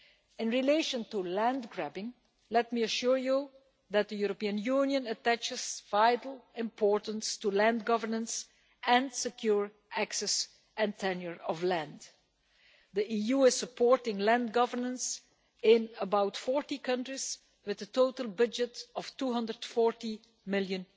In relation to land grabbing, let me assure you that the European Union attaches vital importance to land governance and secure access to, and tenure of, land. The EU is supporting land governance in about 40 countries, with a total budget of EUR 240 million.